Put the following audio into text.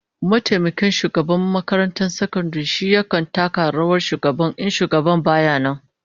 Mataimakin shugaban makarantar sakandaren shi yakan taka rawar shugaban in shugaban baya nan